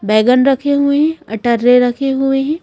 बैगन रखे हुए है अटर्रे रखे हुए हैं।